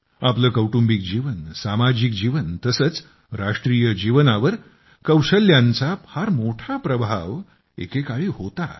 आपले कौटुंबिक जीवन सामाजिक जीवन तसेच राष्ट्रीय जीवनावर कौशल्यांचा फार मोठा प्रभाव एके काळी होता